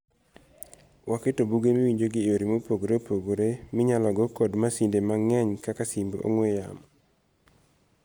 Waketo buge miwinjogi eyore mopogre opogre minyalo go kod masinde mang'eny kaka simb ong'ue yamo.